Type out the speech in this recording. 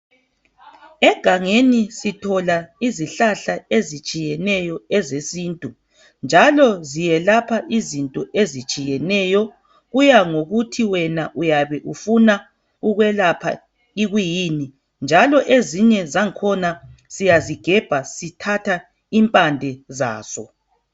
Egangeni sithola izihlahla ezitshiyeneyo ezesintu njalo ziyelapha izinto ezitshiyeneyo. Kuya ngokuthi wena uyabe ufuna ukwelapha ikwiyini njalo ezinye zangkhona siyazigebha sithatha impande zazo.